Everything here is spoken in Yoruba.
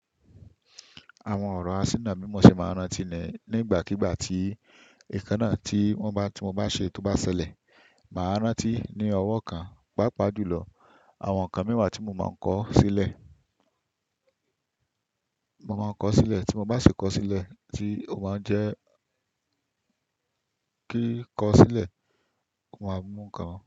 Àwọn ọ̀rọ̀ asínà mímọ́ ṣe máa ń rántí nì-nígbàkígbà tí ìkan náà tí wọ́n bá tí mo bá ṣe tó bá ṣẹlẹ̀. Màá rántí ní ọwọ́ kan, pàápàá jùlọ àwọn nǹkan mẹ́wàá tí mo máa ń kọ sílẹ̀. Mo máa ń kọ sílẹ̀ tí mo bá sì kọ sílẹ̀ tí ó máa ń jẹ́ kí kọ sílẹ̀, mo máa mú nǹkan wá.